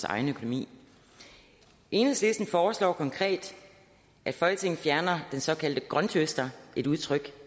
egen økonomi enhedslisten foreslår konkret at folketinget fjerner den såkaldte grønthøster et udtryk